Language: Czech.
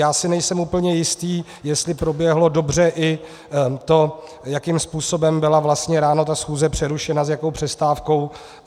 Já si nejsem úplně jistý, jestli proběhlo dobře i to, jakým způsobem byla vlastně ráno ta schůze přerušena, s jakou přestávkou.